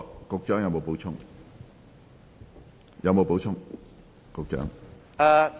局長，你有否補充？